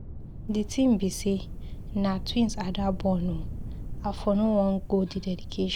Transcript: The thing be say na twins Ada born ooo, I for no Wan go the dedication.